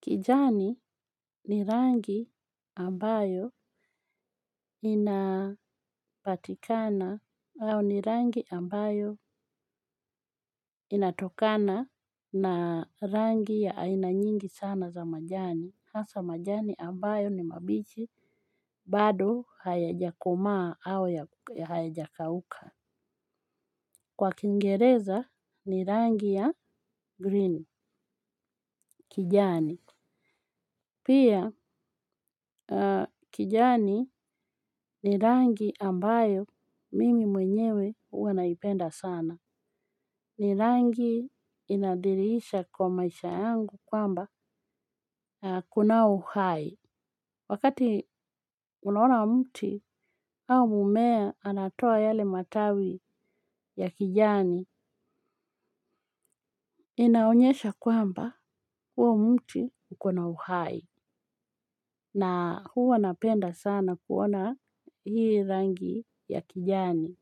Kijani ni rangi ambayo inapatikana au ni rangi ambayo inatokana na rangi ya aina nyingi sana za majani. Hasa majani ambayo ni mabichi bado hayajakomaa au ya hayajakauka. Kwa kingereza ni rangi ya green kijani. Pia kijani ni rangi ambayo mimi mwenyewe huwa naipenda sana. Ni rangi inadhirisha kwa maisha yangu kwamba kuna uhai. Wakati unaona mti au mmea anatoa yale matawi ya kijani, inaonyesha kwamba huo mtu ukona uhai. Na huwa anapenda sana kuona hii rangi ya kijani.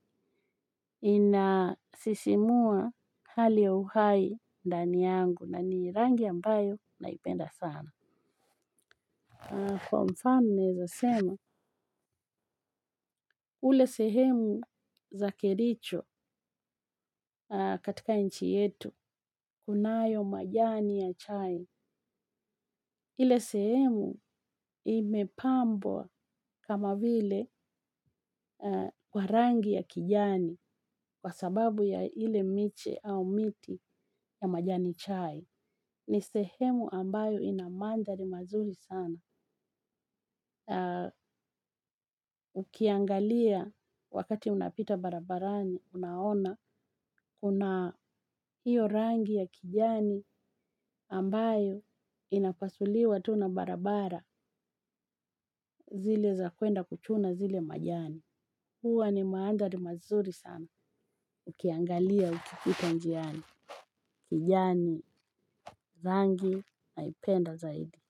Ina sisimua hali ya uhai ndani yangu na ni rangi ambayo naipenda sana. Kwa mfano naeza sema, ule sehemu za kericho katika nchi yetu, kunayo majani ya chai. Ile sehemu imepambwa kama vile kwa rangi ya kijani kwa sababu ya ile miche au miti ya majani chai. Ni sehemu ambayo ina mandhari mazuri sana. Ukiangalia wakati unapita barabarani unaona kuna hiyo rangi ya kijani ambayo inapasuliwa tu na barabara zile za kwenda kuchuna zile majani huwa ni maandhari mazuri sana. Ukiangalia ukipita njiani kijani rangi naipenda zaidi.